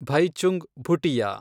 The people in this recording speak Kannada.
ಭೈಚುಂಗ್ ಭುಟಿಯಾ